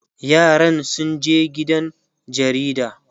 yaran sun je gidan jaridan